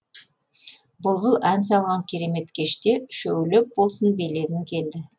бұлбұл ән салған керемет кеште үшеулеп болсын билегім келді